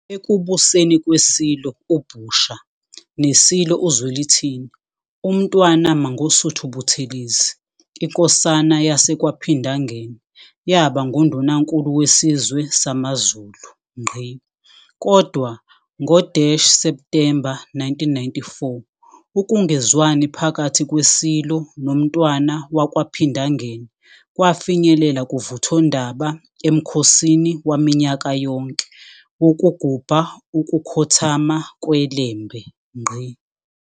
Ekubuseni kweSilo uBhusha neSilo uZwelithini, uMntwana Mangosuthu Buthelezi, iNkosana yaseKwaPhindangene, yabanguNdunankulu wesizwe samaZulu. Kodwa, ngo-September 1994, ukungezwani phakathi kweSilo noMntwana wakwaPhindangene kwafinyelela kuvuthondaba emkhosini waminyaka yonke wokugubha ukukhothama kweLembe.